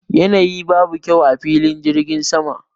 Yanayin babu kyau a filin jirgin sama